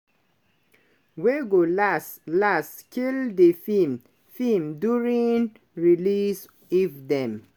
wey go las-las "kill di feem feem during release if dem